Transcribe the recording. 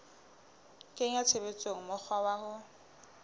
kenya tshebetsong mokgwa wa ho